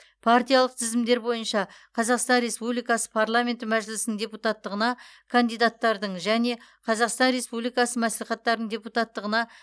партиялық тізімдер бойынша қазақстан республикасы парламенті мәжілісінің депутаттығына кандидаттардың және қазақстан республикасы мәслихаттарының депутаттығына